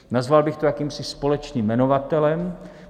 Nazval bych to jakýmsi společným jmenovatelem.